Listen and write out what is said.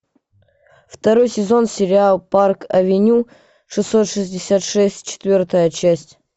второй сезон сериал парк авеню шестьсот шестьдесят шесть четвертая часть